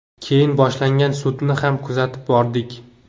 Keyin boshlangan sudni ham kuzatib bordik.